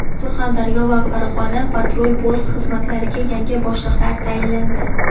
Surxondaryo va Farg‘ona patrul-post xizmatlariga yangi boshliqlar tayinlandi.